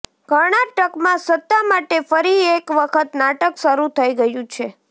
કર્ણાટકમાં સત્તા માટે ફરી એક વખત નાટક શરૂ થઇ ગયું છે